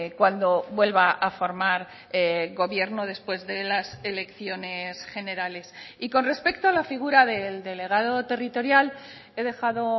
cuando vuelva a formar gobierno después de las elecciones generales y con respecto a la figura del delegado territorial he dejado